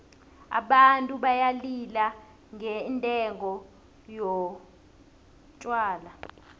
abantu bayalila ngendengo yotjhwala